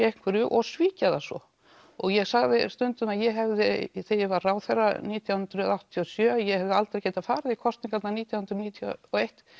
einhverju og svíkja það svo og ég sagði það stundum að ég hefði þegar ég var ráðherra nítján hundruð áttatíu og sjö að ég hefði aldrei geta farið í kosningarnar nítján hundruð níutíu og eitt